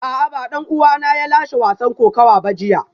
A'a ba dan uwana ne ya lashe wasan kokawa ba jiya